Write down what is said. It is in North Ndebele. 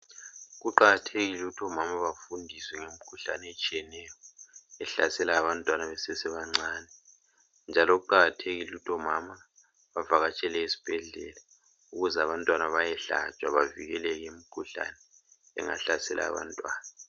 Kuqakathekile ukuthi omama bafundiswe ngemikhuhlane etshiyeneyo ehlasela abantwana besesebancane njalo kuqakathekile ukuthi omama bavakatshele esibhedlela ukuze abantwana bayehlatshwa bavikele imikhuhlane engahlasela abantwana.